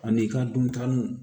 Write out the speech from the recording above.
Ani i ka duntaw